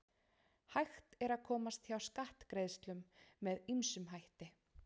Hægt er að komast hjá skattgreiðslum með ýmsum hætti.